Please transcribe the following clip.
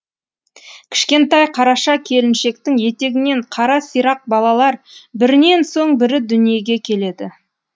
кішкентай қараша келіншектің етегінен қара сирақ балалар бірінен соң бірі дүниеге келеді